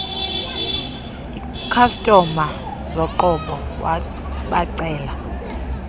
ikhastoma zoqobo wabacela